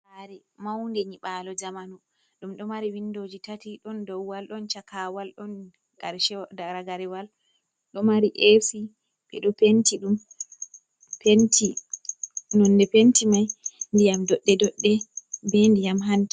Sare maunde nyibalo zamanu, ɗum ɗo mari windoji tati ɗon dou wal, ɗon chakawal, ɗon ragarewal ɗo mari e'si nonde penti mai ndiyam doɗɗe doɗɗe be ndiyam hanta.